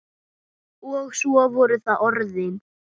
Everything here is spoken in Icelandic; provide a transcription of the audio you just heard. Og svo voru það orðin.